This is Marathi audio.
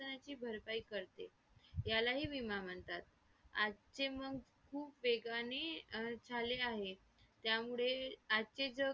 Presentation घेतात वेगवेगळ्या varieties मध्ये ते आपल्याला हे करून सवय करतात .